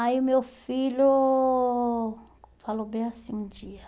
Aí, o meu filho falou bem assim um dia.